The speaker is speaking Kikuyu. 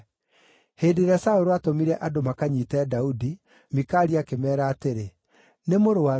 Hĩndĩ ĩrĩa Saũlũ aatũmire andũ makanyiite Daudi, Mikali akĩmeera atĩrĩ, “Nĩ mũrũaru.”